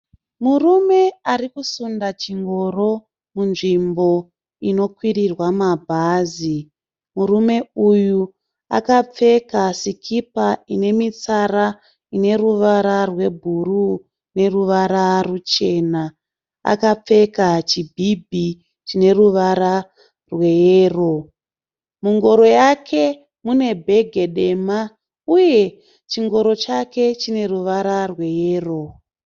Murume ari kusunda chingoro munzvmbo inokwirirwa mabhazi. Murume uyu akapfeka sikipa inemitsara ineruvara rwebhuruwu neruvara ruchena. Akapfeka chibhibhi chineruvara rweyero. Mungoro yake mune bhegi dema ,uye chingoro chake chineruvara rweyero.